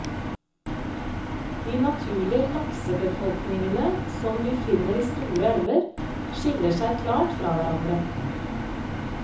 De naturlige laksebefolkningene som vi finner i store elver, skiller seg klart fra hverandre.